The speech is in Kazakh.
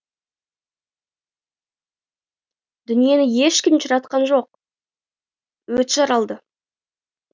дүниені ешкім де жаратқан жоқ өзі жаралды